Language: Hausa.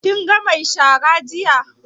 Kin ga mai shara jiya?